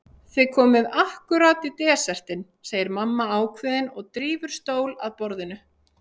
Þið komið ákkúrat í desertinn, segir mamma ákveðin og drífur stól að borðinu.